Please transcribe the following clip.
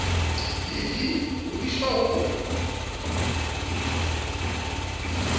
le vii ho diswa ho